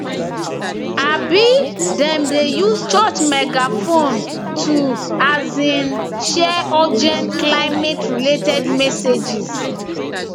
um dem dey use church megaphone to um share urgent climate related messages